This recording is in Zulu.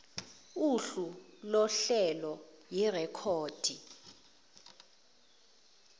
uhlu lohlelo yirekhodi